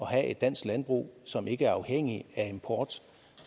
have et dansk landbrug som ikke er afhængig af import